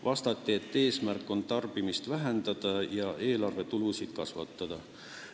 Vastati, et eesmärk on tarbimist vähendada ja eelarve tulusid kasvatada.